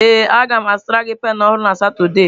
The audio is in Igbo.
Ee a ga m azụtara gị penụ ọhụrụ na Satọde.